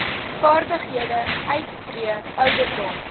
vaardighede uittree ouderdom